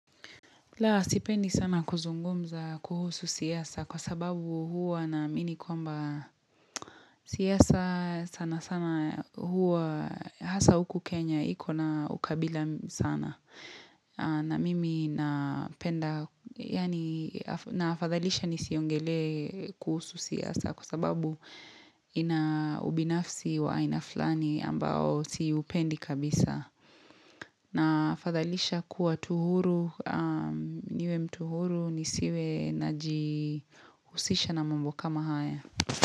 La sipendi sana kuzungumza kuhusu siasa kwa sababu huwa na amini kwamba siasa sana sana huwa hasa huku Kenya hiko na ukabila sana na mimi na penda yani na fadhalisha nisiongelee kuhusu siasa kwa sababu ina ubinafsi wa inaflani ambao siupendi kabisa. Na fathalisha kuwa tu huru, niwe mtu huru ni siwe na jihusisha na mambo kama haya.